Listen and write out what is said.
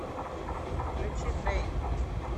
включи дрэйк